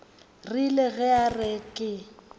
rile ge a re ke